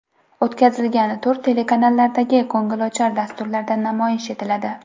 O‘tkazilgan tur telekanallardagi ko‘ngilochar dasturlarda namoyish etiladi.